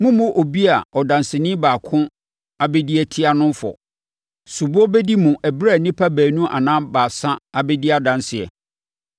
Mommmu obi a ɔdanseni baako abɛdi atia no no fɔ. Soboɔ bɛdi mu ɛberɛ a nnipa baanu anaa baasa abɛdi adanseɛ.